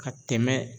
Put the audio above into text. Ka tɛmɛ